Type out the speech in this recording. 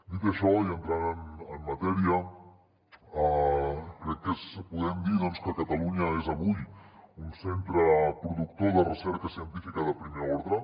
dit això i entrant en matèria crec que podem dir que catalunya és avui un centre productor de recerca científica de primer ordre